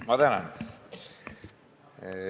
Ma tänan!